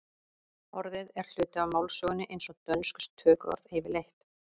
orðið er hluti af málsögunni eins og dönsk tökuorð yfirleitt